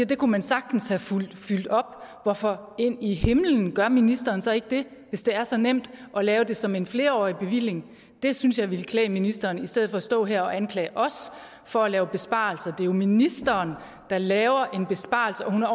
det kunne man sagtens have fyldt op hvorfor ind i himlen gør ministeren så ikke det hvis det er så nemt at lave det som en flerårig bevilling det synes jeg ville klæde ministeren i stedet for at stå her og anklage os for at lave besparelser det er jo ministeren der laver en besparelse og hun er